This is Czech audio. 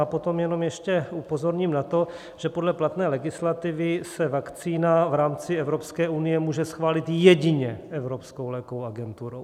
A potom jenom ještě upozorním na to, že podle platné legislativy se vakcína v rámci Evropské unie může schválit jedině Evropskou lékovou agenturou.